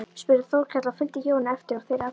spurði Þórkell og fylgdi Jóni eftir og þeir allir.